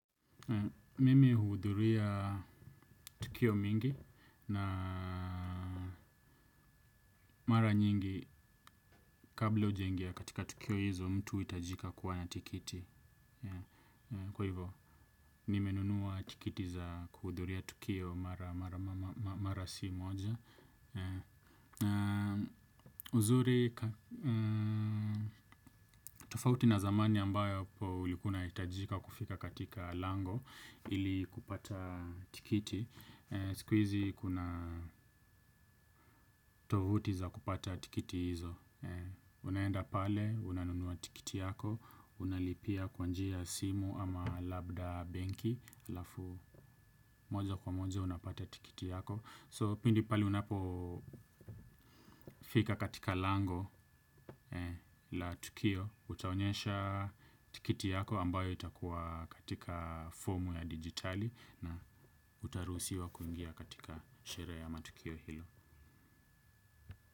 Mimi huudhuria tukio mingi na mara nyingi kabla ujenge katika tukio hizo mtu huhitajika kuwa na tiketi. Kwa hivo, nimenunua tiketi za kuhudhuria tukio mara si moja. Uzuri, tofauti na zamani ambayo ulikuwa unahitajika kufika katika lango ili kupata tiketi. Siku hizi kuna tovuti za kupata tiketi hizo. Unaenda pale, unanunua tiketi yako. Unalipia kwa njia simu ama labda benki halafu moja kwa moja unapata tiketi yako So pindi pale unapo fika katika lango la tukio. Utaonyesha tiketi yako ambayo itakuwa katika fomu ya digitali. Na utaruhusiwa kuingia katika sherehe ya matukio hilo.